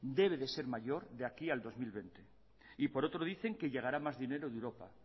debe ser mayor de aquí al dos mil veinte y por otro dicen que llegará más dinero de europa